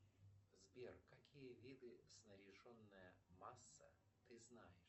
сбер какие виды снаряженная масса ты знаешь